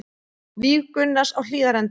Víg Gunnars á Hlíðarenda